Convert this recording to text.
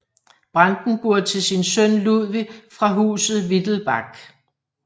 Brandenburg til sin søn Ludvig fra Huset Wittelbach